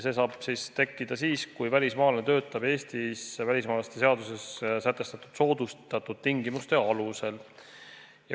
See saab siis tekkida siis, kui välismaalane töötab Eestis välismaalaste seaduses sätestatud soodustatud tingimuste alusel.